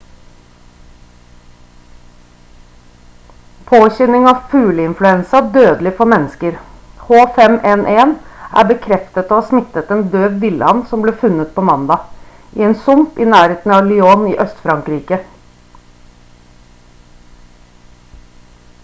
påkjenning av fugleinfluensa dødelig for mennesker h5n1 er bekreftet å ha smittet en død vill-and som ble funnet på mandag i en sump i nærheten av lyon i øst-frankrike